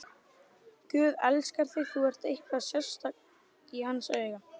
Guð elskar þig, þú ert eitthvað sérstakt í hans augum.